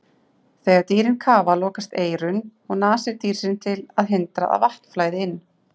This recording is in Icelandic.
Þegar dýrin kafa lokast eyru og nasir dýrsins til að hindra að vatn flæði inn.